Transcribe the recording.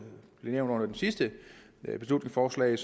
blev nævnt under det sidste beslutningsforslag